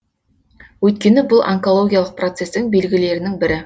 өйткені бұл онкологиялық процестің белгілерінің бірі